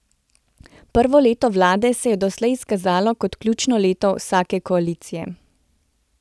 Prvo leto vlade se je doslej izkazalo kot ključno leto vsake koalicije.